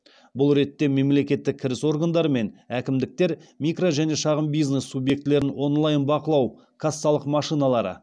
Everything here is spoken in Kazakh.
бұл ретте мемлекеттік кіріс органдары мен әкімдіктер микро және шағын бизнес субъектілерін онлайн бақылау кассалық машиналары